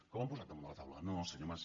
que ho han posat damunt de la taula no senyor mas